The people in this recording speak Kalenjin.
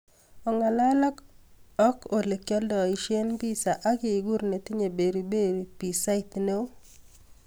Ongalal ak olegialdoishen pissa ak iguur netinye beri beri pisait neoo